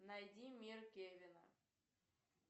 найди мир кевина